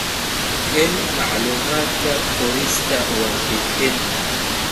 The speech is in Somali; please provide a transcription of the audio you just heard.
Hel macluumaadka qorista warbixinta.